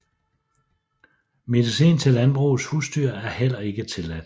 Medicin til landbrugets husdyr er heller ikke tilladt